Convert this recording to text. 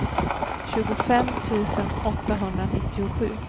tjugofem tusen åttahundranittiosju